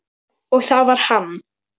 Og það var hann.